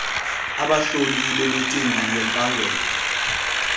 abahloli bemicimbi yempangelo